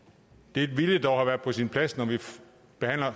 det ville dog have været på sin plads når vi behandler